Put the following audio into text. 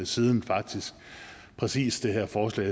siden faktisk præcis det her forslag